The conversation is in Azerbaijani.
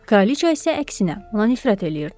Kraliça isə əksinə, ona nifrət eləyirdi.